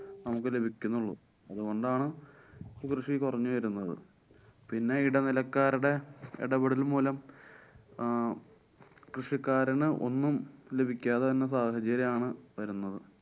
നമുക്ക് ലഭിക്കുന്നുള്ളൂ. അതുകൊണ്ടാണ് കൃഷി കൊറഞ്ഞു വരുന്നത്. പിന്നെ ഇടനിലക്കാരടെ ഇടപെടല് മൂലം ആഹ് കൃഷിക്കാരന് ഒന്നും ലഭിക്കാതെ വരുന്ന സാഹചര്യമാണ് വരുന്നത്.